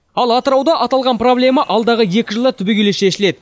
ал атырауда аталған проблема алдағы екі жылда түбегейлі шешіледі